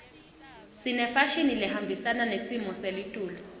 sinefashini lehambisana nesimo selitulu